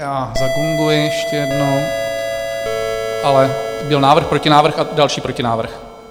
Já zagonguji ještě jednou, ale byl návrh, protinávrh a další protinávrh.